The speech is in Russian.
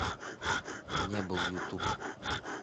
не был ютуб